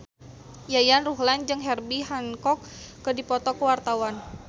Yayan Ruhlan jeung Herbie Hancock keur dipoto ku wartawan